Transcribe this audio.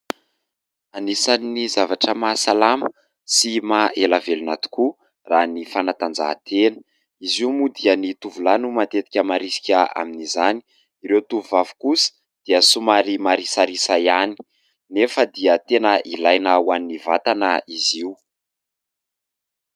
Anisany zavatra mahasalama sy maha ela velona tokoa raha ny fanatanjahatena, izy io moa dia ny tovolahy no matetika marisika amin'izany, ireo tovovavy kosa dia somary marisarisa ihany nefa dia tena ilaina ho an'ny vatana izy io.